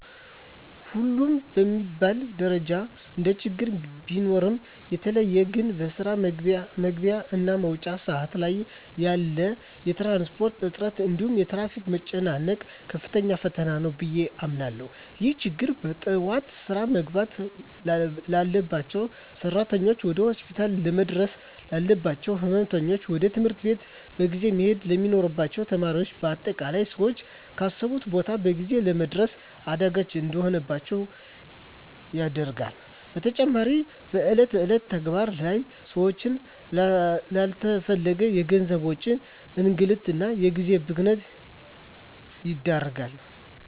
ሁሉም በሚባል ደረጃ እንደችግር ቢኖሩም በተለየ ግን በስራ መግቢያ እና መውጫ ሰአት ላይ ያለ የትራንስፖርት እጥረት እንዲሁም የትራፊክ መጨናነቅ ከፍተኛ ፈተና ነው ብየ አምናለሁ። ይህ ችግር በጠዋት ስራ መግባት ላባቸው ሰራተኞች፣ ወደ ሆስፒታል ለመድረስ ላለባቸው ህመምተኞች፣ ወደ ትምህርት ቤት በጊዜ መሄድ ለሚኖርባቸው ተማሪዎች በአጠቃላይ ሰወች ካሰቡት ቦታ በጊዜ ለመድረስ አዳጋች እንዲሆንባቸው ያደርጋል። በተጨማሪም በእለት እለት ተግባር ላይ ሰወችን ላለተፈለገ የገንዘብ ወጪ፣ እንግልት እና የጊዜ ብክነት ይዳርጋል።